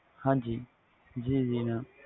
ਹਾਜੀ ਜੀ ਜੀ